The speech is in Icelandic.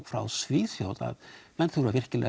frá Svíþjóð að menn þurfa virkilega